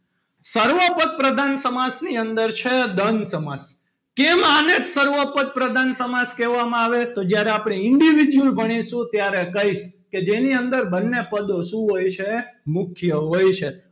સર્વોપદ પ્રધાન સમાસની અંદર છે. દ્રંધ સમાસ કેમ આને જ સર્વોપદ પ્રધાન સમાસ કહેવામાં આવે છે. તો જ્યારે આપણે individual ભણીશું ત્યારે કહીશ. કે જેની અંદર બંને પદો શું હોય છે. મુખ્ય હોય છે.